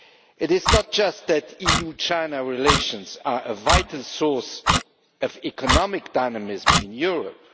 It is not just that EU China relations are a vital source of economic dynamism in Europe.